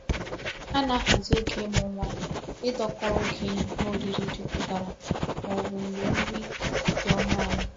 Ana ahazi oge imu nwa idako oge ihe oriri juputara ma obu mgbe nri di onu ala.